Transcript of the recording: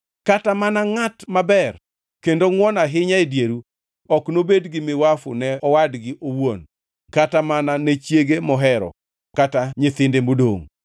Kata mana ngʼat maber kendo ngʼwon ahinya e dieru ok nobed gi miwafu ne owadgi owuon kata mana ne chiege mohero kata nyithinde modongʼ,